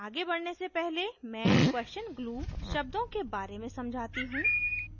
आगे बढ़ने से पहले मैं question glue शब्दों के बारे में समझाती हूँ